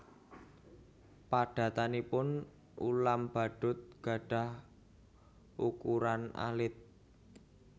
Padatanipun ulam badut gadhah ukuran alit